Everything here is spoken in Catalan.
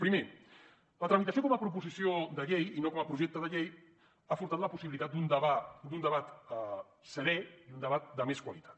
primer la tramitació com a proposició de llei i no com a projecte de llei ha furtat la possibilitat d’un debat serè i un debat de més qualitat